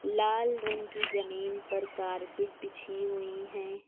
लाल रंग की जमीन पर कारपेट बिछी हुई हैं।